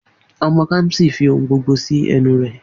Omo Kamsi fi ohun gbogbo si enu re